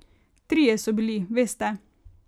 Trije so bili, veste.